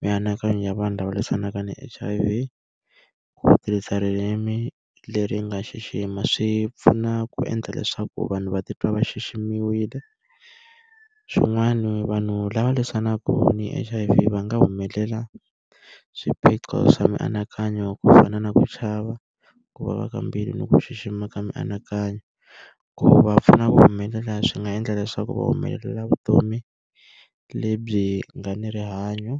mianakanyo ya vanhu lava lwisanaka ni H_I_V, ku tirhisa ririmi leri nga xixima swi pfuna ku endla leswaku vanhu va titwa va xiximiwile. Swin'wani vanhu lava lwisanaka ni H_I_V va nga swiphiqo swa mianakanyo ku fana na ku chava, ku vava ka mbilu, ni ku xixima ka mianakanyo. Ku va pfuna ku humelela swi nga endla leswaku va humelela vutomi lebyi nga ni rihanyo.